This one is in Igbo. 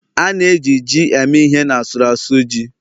a na-eji ji eme ihe n' asụru asu ji